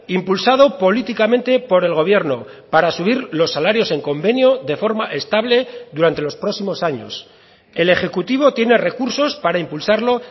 impulsado políticamente por el gobierno para subir los salarios en convenio de forma estable durante los próximos años el ejecutivo tiene recursos para impulsarlo